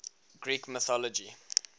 greek mythology